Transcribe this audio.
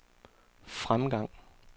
fremgang